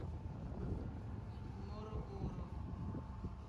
морогоро